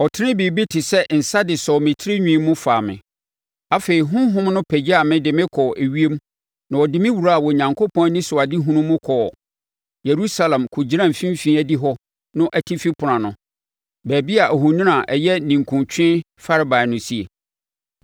Ɔtenee biribi te sɛ nsa de sɔɔ me tirinwi mu faa me. Afei honhom no pagyaa me de me kɔɔ ewiem na ɛde me wuraa Onyankopɔn anisoadehunu mu kɔɔ Yerusalem kɔgyinaa mfimfini adihɔ no atifi ɛpono ano, baabi a ohoni a ɛyɛ ninkunutweɛ farebae no sie.